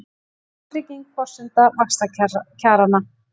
Verðtrygging forsenda vaxtakjaranna